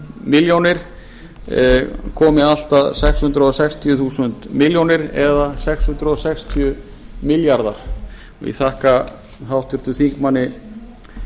milljónir króna komi allt að sex hundruð sextíu þúsund milljónir króna eða sex hundruð sextíu milljarðar ég þakka háttvirtum þingmanni